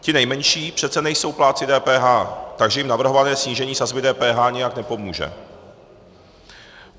Ti nejmenší přece nejsou plátci DPH, takže jim navrhované snížení sazby DPH nijak nepomůže.